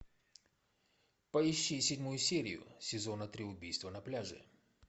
поищи седьмую серию сезона три убийство на пляже